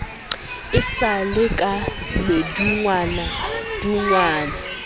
e sa le ka madungwadungwa